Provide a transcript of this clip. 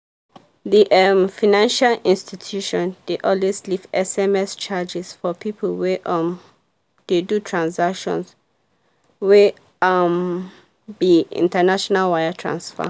the um financial institution dey always leave sms charges for people wey um dey do transactions wey um be international wire transfer.